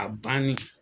A banni